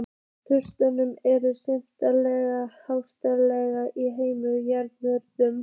Truflanirnar eru sérstaklega algengar í efstu jarðlögunum.